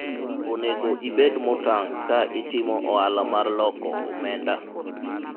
onego ibed motang' ka itimo ohala mar loko omenda